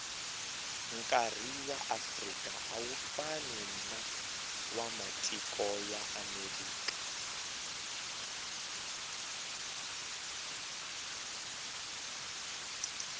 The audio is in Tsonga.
nkari waafrika awufani nawamatiko yaamerika